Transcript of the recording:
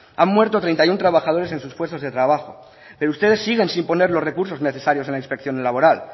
han muerto treinta y uno trabajadores en sus puestos de trabajo pero ustedes siguen sin poner los recursos necesarios en la inspección laboral